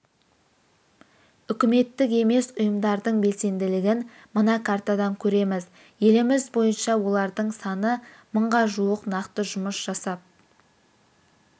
үкіметтік емес ұйымдардың белсенділігін мына картадан көреміз еліміз бойынша олардың саны мыңға жуық нақты жұмыс жасап